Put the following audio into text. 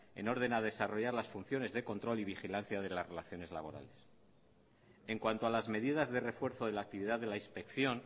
en orden a desarrollar las funciones de control y la vigilancia de las relaciones laborales en cuanto a las medidas de refuerzo de la actividad de la inspección